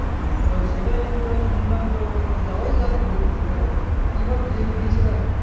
হ্যা তো সেটাই তো শুনলাম তো যাওয়াই যাক একদিন যেতে হবে কি বার গে~গেছিলা